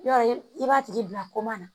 Yɔrɔ i b'a tigi bila na